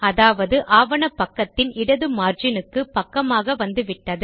அதாவது ஆவண பக்கத்தின் இடது மார்ஜினுக்கு பக்கமாக வந்துவிட்டது